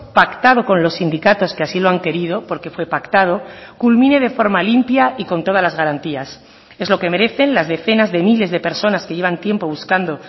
pactado con los sindicatos que así lo han querido porque fue pactado culmine de forma limpia y con todas las garantías es lo que merecen las decenas de miles de personas que llevan tiempo buscando